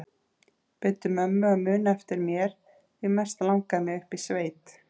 Biddu mömmu að muna eftir mér því mest langar mig upp í sveit